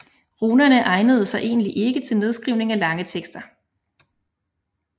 Runerne egnede sig ikke til egentlig nedskrivning af lange tekster